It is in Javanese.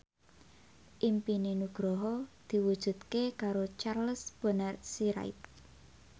impine Nugroho diwujudke karo Charles Bonar Sirait